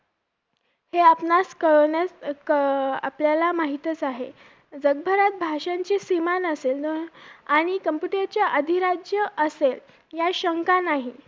अ मी संजना पाटील